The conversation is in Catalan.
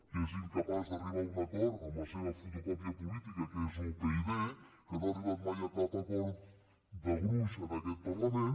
que és incapaç d’arribar a un acord amb la seva fotocòpia política que és upyd que no ha arribat mai a cap acord de gruix en aquest parlament